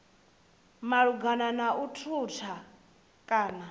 malugana na u thutha kana